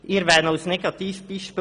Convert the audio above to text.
Ich erwähne als Negativbeispiel